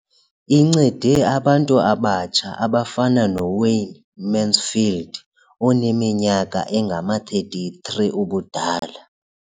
Incede abantu abatsha abafana noWayne Mansfield oneminyaka engama-33 ubudala.